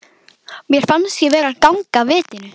Mér fannst ég vera að ganga af vitinu.